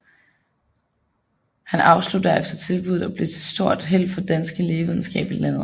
Han afslog derefter tilbuddet og blev til stort held for den danske lægevidenskab i landet